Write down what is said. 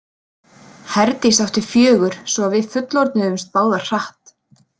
Herdís átti fjögur svo að við fullorðnuðumst báðar hratt.